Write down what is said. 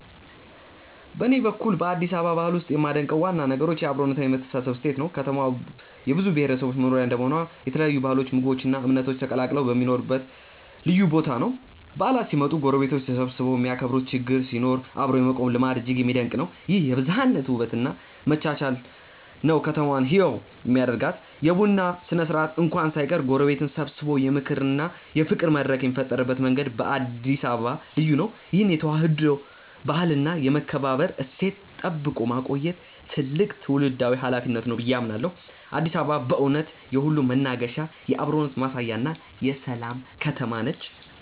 በኔ በኩል በአዲስ አበባ ባህል ውስጥ የማደንቀው ዋና ነገር የአብሮነትና የመተሳሰብ እሴት ነው። ከተማዋ የብዙ ብሔረሰቦች መኖሪያ እንደመሆኗ የተለያዩ ባህሎች ምግቦች እና እምነቶች ተቀላቅለው የሚኖሩበት ልዩ ቦታ ነው። በዓላት ሲመጡ ጎረቤቶች ተሰባስበው የሚያከብሩበት ችግር ሲኖር አብሮ የመቆም ልማድ እጅግ የሚደነቅ ነው። ይህ የብዝሃነት ውበት እና መቻቻል ነው ከተማዋን ህያው የሚያደርጋት። የቡና ስነ-ስርዓት እንኳን ሳይቀር ጎረቤትን ሰብስቦ የምክክርና የፍቅር መድረክ የሚፈጥርበት መንገድ በአዲስ አበባ ልዩ ነው። ይህን የተዋህዶ ባህልና የመከባበር እሴት ጠብቆ ማቆየት ትልቅ ትውልዳዊ ኃላፊነት ነው ብዬ አምናለሁ። አዲስ አበባ በእውነት የሁሉም መናገሻ፣ የአብሮነት ማሳያና የሰላም ከተማ ነች።